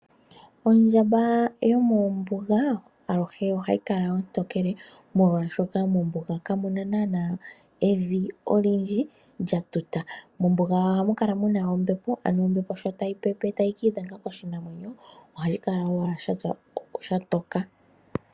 Ondjamba yomombuga aluhe ohayika ontokele , molwaashoka mombuga kamuna nana evi lyatuta. Mombuga ohamukala muna ombepo nombepo ndjika shampa ta yi pepe ohayi kiidhenga koshinamwenyo no hayi tokeke oshinamwenyo .